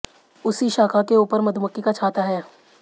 उसी शाखा के ऊपर मधुमक्खी का छाता है